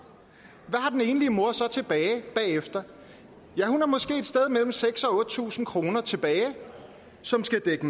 hvad har den enlige mor så tilbage bagefter ja hun har måske et sted mellem seks tusind og otte tusind kroner tilbage som skal dække